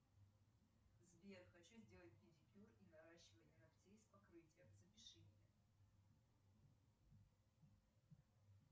сбер хочу сделать педикюр и наращивание ногтей с покрытием запиши меня